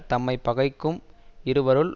தம்மை பகைக்கும் இருவருள்